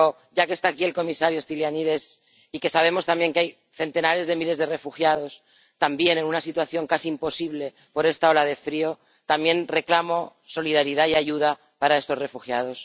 Pero, ya que está aquí el comisario Stylianides y que sabemos también que hay centenares de miles de refugiados también en una situación casi imposible por esta ola de frío, también reclamo solidaridad y ayuda para estos refugiados.